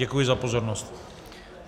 Děkuji za pozornost.